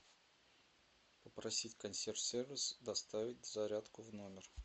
попросить консьерж сервис доставить зарядку в номер